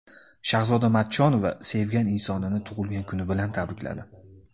Shahzoda Matchonova sevgan insonini tug‘ilgan kuni bilan tabrikladi.